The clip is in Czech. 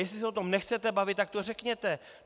Jestli se o tom nechcete bavit, tak to řekněte.